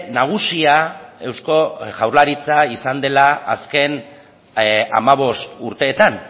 nagusia eusko jaurlaritza izan dela azken hamabost urteetan